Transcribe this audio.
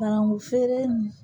Barangu feere nin